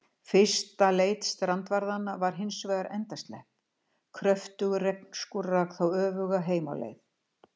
Fyrsta leit strandvarðanna var hins vegar endaslepp, kröftugur regnskúr rak þá öfuga heim á leið.